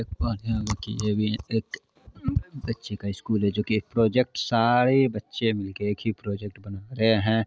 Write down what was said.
एक बच्चे का स्कूल है जो कि एक प्रोजेक्ट सारे बच्चे मिल के एक ही प्रोजेक्ट बना रहे है।